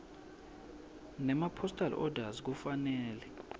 nemapostal orders kufanele